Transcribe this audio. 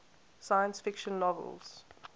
science fiction novels